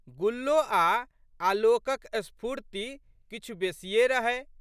गुल्लो आ' आलोकक स्फूर्त्ति किछु बेशिए रहै।